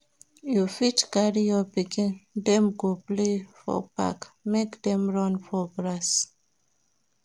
You fit carry your pikin dem go play for park, make dem run for grass.